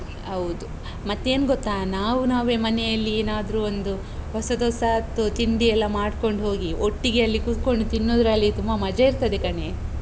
ಹೌದು. ಮತ್ತೇನ್ ಗೊತ್ತಾ? ನಾವು ನಾವೇ ಮನೆಯಲ್ಲಿ ಏನಾದ್ರೂ ಒಂದು ಹೊಸದೊಸಾತು ತಿಂಡಿ ಎಲ್ಲ ಮಾಡ್ಕೊಂಡು ಹೋಗಿ, ಒಟ್ಟಿಗೆ ಅಲ್ಲಿ ಕೂತ್ಕೊಂಡು ತಿನ್ನೋದ್ರಲ್ಲಿ ತುಂಬ ಮಜ ಇರ್ತದೆ ಕಣೇ.